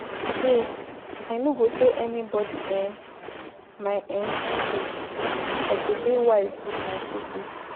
Today, I no go tell anybodi um my um secrets, I go dey wise wit my secrets.